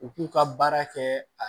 U k'u ka baara kɛ a